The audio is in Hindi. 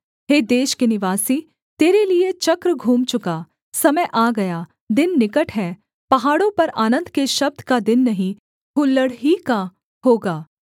हे देश के निवासी तेरे लिये चक्र घूम चुका समय आ गया दिन निकट है पहाड़ों पर आनन्द के शब्द का दिन नहीं हुल्लड़ ही का होगा